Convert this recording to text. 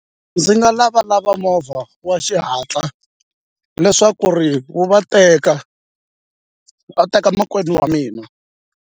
Ndzi nga lavalava movha wa xihatla leswaku ri wu va teka va teka makwenu wa mina.